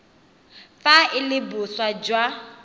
fa e le boswa jwa